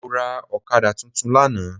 Mọ́ra Ọ̀kadà tuntun lánàá